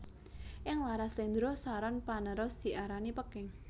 Ing laras slendro saron panerus diarani Peking